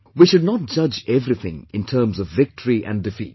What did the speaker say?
We should not judge everything in terms of victory and defeat